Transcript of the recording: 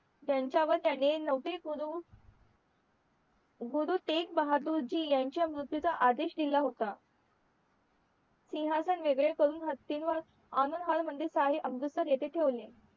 ज्यांच्या व त्यांनी गुरुतेकबहादुरजी मृत्यू चा आदेश दिला होता सिहासन वेगळे करून हातीं वर मंदिर अमृतसर येथे ठेवले